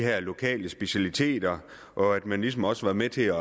lokale specialiteter og at man ligesom også er med til